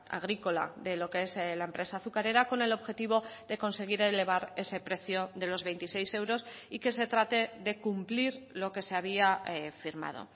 agrícola de lo que es la empresa azucarera con el objetivo de conseguir elevar ese precio de los veintiséis euros y que se trate de cumplir lo que se había firmado